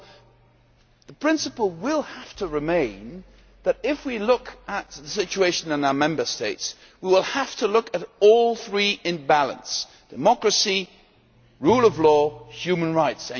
So the principle will have to remain that, if we look at the situation in our Member States, we will have to look at all three in balance democracy, rule of law and human rights.